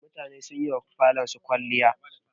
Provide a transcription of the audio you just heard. Mutane sun yi wa falonsu kwalliya.